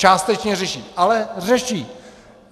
Částečně řeší, ale řeší.